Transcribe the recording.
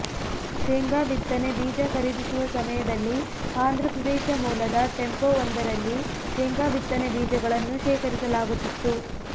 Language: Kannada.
ಶೇಂಗಾ ಬಿತ್ತನೆ ಬೀಜ ಖರೀದಿಸುವ ಸಮಯದಲ್ಲಿ ಆಂಧ್ರಪ್ರದೇಶ ಮೂಲದ ಟೆಂಪೊ ಒಂದರಲ್ಲಿ ಶೇಂಗಾ ಬಿತ್ತನೆ ಬೀಜಗಳನ್ನು ಶೇಖರಿಸಲಾಗುತ್ತಿತ್ತು